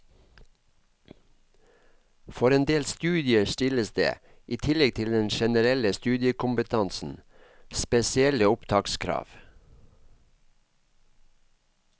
For en del studier stilles det, i tillegg til den generelle studiekompetansen, spesielle opptakskrav.